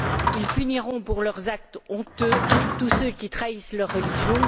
ils puniront pour leurs actes honteux tous ceux qui trahissent leur religion.